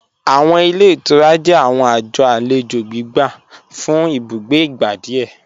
Awọn ilẹ̀ ìtúrà jẹ̀ awọn ajọ̀ alẹjo gbígbà fún ìbùgbé igbá díẹ̀.